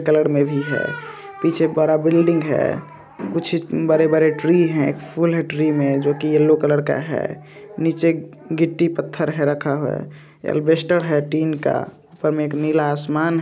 Colour में भी हैं पीछे बड़ा बिल्डिंग हैं कुछ बड़े बड़े ट्री हैं फूल है ट्री में जो कि येलो कलर का हैं नीचे गिट्टी पत्थर रखा हुआ हैं। एलविस्टर हैं स्टील का ऊपर नीला आसमान--